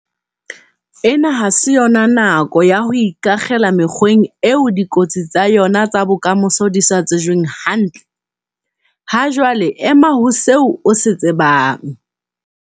Ena ha se nako ya ho ikakgela mekgweng eo dikotsi tsa yona tsa bokamoso di sa tsejweng hantle. Hajwale ema ho seo o se tsebang.